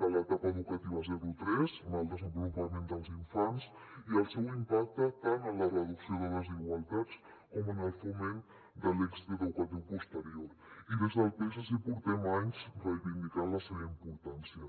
de l’etapa educativa zero tres en el desenvolupament dels infants i el seu impacte tant en la reducció de desigualtats com en el foment de l’èxit educatiu posterior i des del psc portem anys reivindicant la seva importància